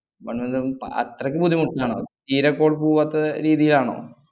one month ന്ന് അത്രയ്ക്ക് ബുദ്ധിമുട്ടിലാണോ? തീരെ call പൂവാത്ത രീതിയാണോ?